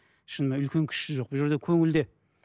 шынымен үлкен кішісі жоқ бұл жерде көңілде